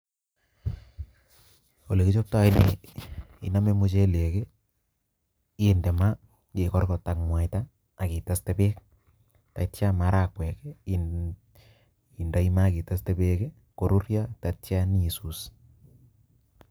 Olekichoptoo nii income muchelek kii inde maa ikorkot ak muaita akiteste beek ak ityo maragwek indoit maa ak iteste beek kii koruryo ak ityo nyo isus.